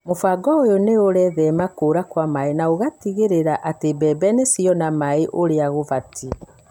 Mũbango ũyũ nĩ ũrethema kũra kwa maĩ na ũgateithia gũtigĩrĩra atĩ mbembe nĩ ciona maĩ ũrĩa gũbatie.